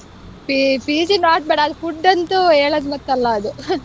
PG not bad ಅಲ್ food ಅಂತೂ ಹೇಳದ್ ಲೆಕ್ಕ ಅದು.